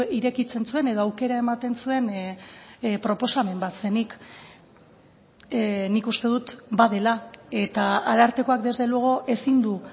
irekitzen zuen edo aukera ematen zuen proposamen bat zenik nik uste dut badela eta arartekoak desde luego ezin du